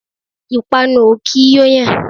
Ìpànu o kì í yo yàn.